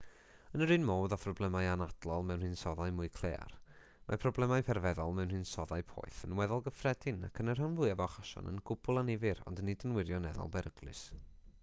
yn yr un modd â phroblemau anadlol mewn hinsoddau mwy claear mae problemau perfeddol mewn hinsoddau poeth yn weddol gyffredin ac yn y rhan fwyaf o achosion yn gwbl annifyr ond nid yn wirioneddol beryglus